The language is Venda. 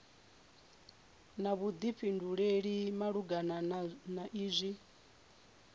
na vhuḓifhinduleli malugana na izwi